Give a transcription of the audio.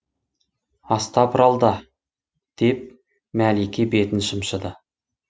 астапыралда деп мәлике бетін шымшыды